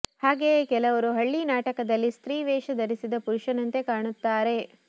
ಹಾಗೆಯೇ ಕೆಲವರು ಹಳ್ಳಿ ನಾಟಕದಲ್ಲಿ ಸ್ತ್ರೀ ವೇಷ ಧರಿಸಿದ ಪುರುಷನಂತೆ ಕಾಣುತ್ತಾರೆ